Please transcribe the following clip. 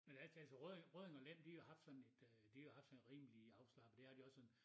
Men ærligt talt så Rødding Rødding og Lem de har jo haft sådan et øh de har jo haft sådan rimelig afslappet det har de også sådan